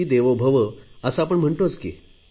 गणेशजींचे विचार मी देशवासियापर्यंत पोहचवत आहे